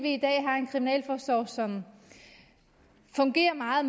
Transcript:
i dag har en kriminalforsorg som fungerer meget